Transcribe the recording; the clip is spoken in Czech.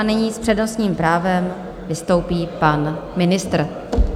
A nyní s přednostním právem vystoupí pan ministr.